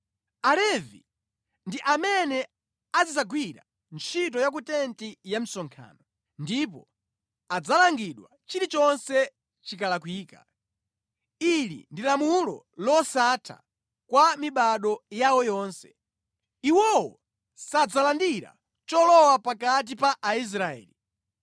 Alevi ndi amene azidzagwira ntchito ya ku tenti ya msonkhano ndipo adzalangidwa chilichonse chikalakwika. Ili ndi lamulo losatha kwa mibado yawo yonse. Iwowo sadzalandira cholowa pakati pa Aisraeli.